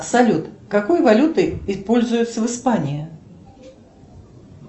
салют какой валютой пользуются в испании